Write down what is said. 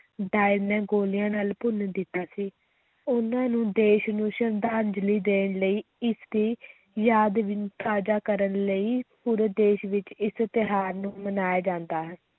Dyer ਨੇ ਗੋਲੀਆਂ ਨਾਲ ਭੁੰਨ ਦਿੱਤਾ ਸੀ, ਉਨ੍ਹਾਂ ਨੂੰ ਦੇਸ਼ ਨੂੰ ਸ਼ਰਧਾਂਜਲੀ ਦੇਣ ਲਈ ਇਸ ਦੀ ਯਾਦ ਵੀ ਤਾਜ਼ਾ ਕਰਨ ਲਈ ਪੂਰੇ ਦੇਸ ਵਿੱਚ ਇਸ ਤਿਉਹਾਰ ਨੂੰ ਮਨਾਇਆ ਜਾਂਦਾ ਹੈ।